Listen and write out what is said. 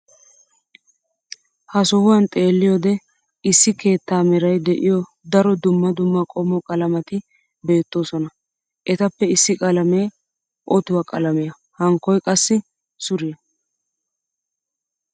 ha sohuwan xeelliyoode issi karetta meray de'iyo daro dumma dumma qommo qalametti beetoosona. etappe issi qalamee ottuwaa qalamiya hankkoy qassi suriya.